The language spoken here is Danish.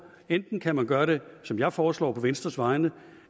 enten kan man gøre det som jeg foreslår på venstres vegne